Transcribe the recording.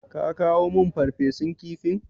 Ka kawo min Farfesun kifin?